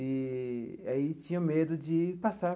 Eee aí tinha medo de passar.